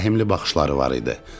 Zəhmli baxışları var idi.